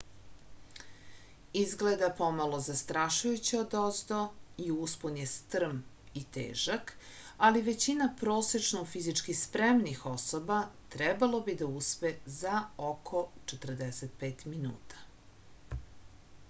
izgleda pomalo zastrašujuće odozdo i uspon je strm i težak ali većina prosečno fizički spremnih osoba trebalo bi da uspe za oko 45 minuta